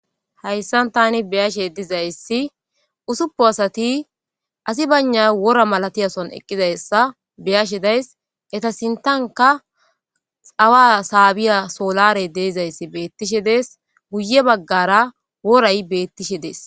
hayssan tani beyashe dizayssi usuppu asati asi bana wora malatiyason eqqizayssa beyashe days eta sintanka xawa saabiya soolarey deezayssi beettishe dees guye baggara woray beettishe dees